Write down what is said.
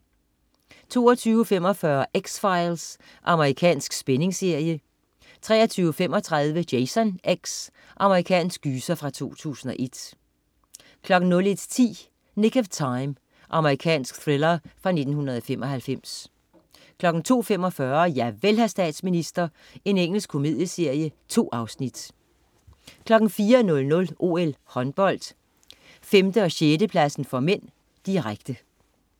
22.45 X-Files. Amerikansk spændingsserie 23.35 Jason X. Amerikansk gyser fra 2001 01.10 Nick of Time. Amerikansk thriller fra 1995 02.45 Javel, hr. statsminister. Engelsk komedieserie. 2 afsnit 04.00 OL: Håndbold, 5/6-pladsen (m), direkte